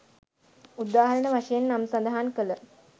උදාහරණ වශයෙන් නම් සදහන් කල